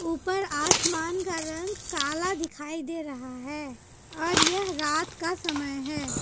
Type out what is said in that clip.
ऊपर आसमान का रंग काला दिखाई दे रहा है और यह रात का समय है।